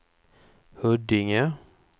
Huddinge